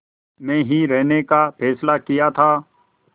में ही रहने का फ़ैसला किया था